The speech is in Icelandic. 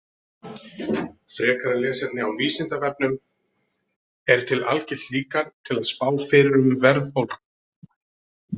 Frekara lesefni á Vísindavefnum: Er til algilt líkan til að spá fyrir um verðbólgu?